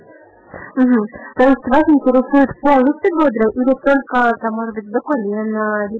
интересует